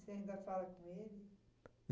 você ainda fala com ele?